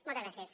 moltes gràcies